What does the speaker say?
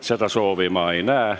Seda soovi ma ei näe.